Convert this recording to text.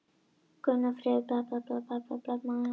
Gunnfríður, hvað er opið lengi á mánudaginn?